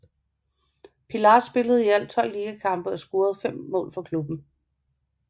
Pilař spillede i alt 12 ligakampe og scorede fem mål for klubben